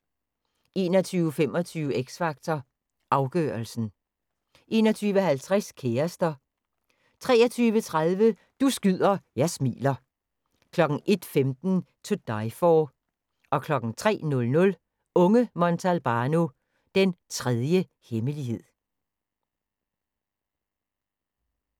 21:25: X Factor Afgørelsen 21:50: Kærester 23:30: Du skyder, jeg smiler 01:15: To Die for 03:00: Unge Montalbano: Den tredje hemmelighed